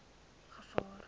gevaar